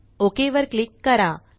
OKवर क्लिक करा